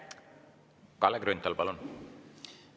Kalle Grünthal, palun!